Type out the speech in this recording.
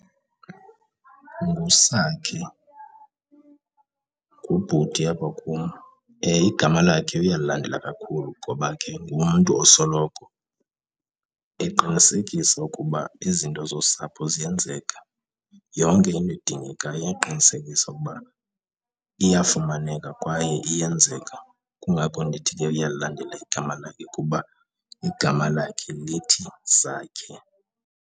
NguSakhe, ngubhuti apha kum, igama lakhe uyalilandela kakhulu ngoba ke ngumntu osoloko eqinisekisa ukuba izinto zosapho ziyenzeka, yonke into edingekayo uyaqinisekisa ukuba iyafumaneka kwaye iyenzeka. Kungakho ndithi ke uyalilandela igama lakhe, kuba igama lakhe lithi Sakhe.